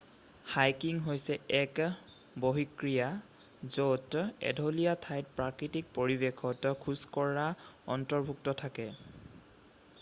hiking হৈছে এক বহিঃক্ৰীড়া য'ত এঢলীয়া ঠাইত প্ৰাকৃতিক পৰিৱেশত খোজকঢ়া অন্তৰ্ভুক্ত থাকে